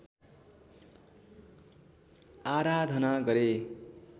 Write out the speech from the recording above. आराधना गरे।